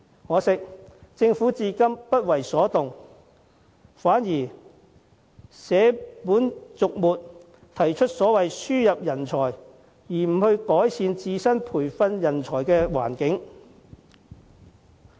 可惜政府至今仍然不為所動，反而捨本逐末，提出輸入人才而非改善本地培訓人才的環境。